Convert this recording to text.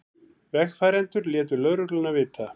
Vegfarendur létu lögregluna vita